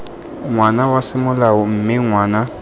ngwana wa semolao mme ngwana